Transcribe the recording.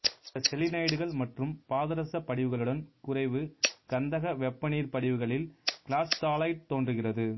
பிற செலீனைடுகள் மற்றும் பாதரச படிவுகளுடன் குறைவு கந்தக வெப்பநீர் படிவுகளில் கிளாசுதாலைட்டு தோன்றுகிறது